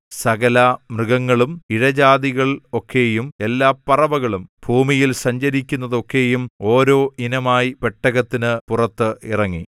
സകലമൃഗങ്ങളും ഇഴജാതികൾ ഒക്കെയും എല്ലാ പറവകളും ഭൂമിയിൽ സഞ്ചരിക്കുന്നതൊക്കെയും ഓരോ ഇനമായി പെട്ടകത്തിന് പുറത്ത് ഇറങ്ങി